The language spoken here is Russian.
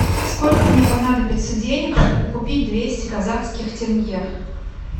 сколько мне понадобится денег чтобы купить двести казахских тенге